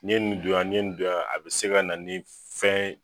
N'i ye nin don yan, nin ye nin don yan, a bɛ se ka na ni fɛn